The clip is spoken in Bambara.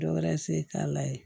Dɔ wɛrɛ se k'a la ye